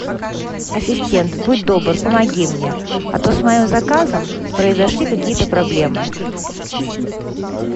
ассистент будь добр помоги мне а то с моим заказом произошли какие то проблемы